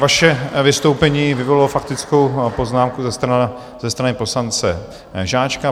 Vaše vystoupení vyvolalo faktickou poznámku ze strany poslance Žáčka.